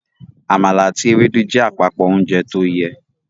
Àmàlà àti Ewédú jẹ́ àpapọ ounjẹ tóyẹ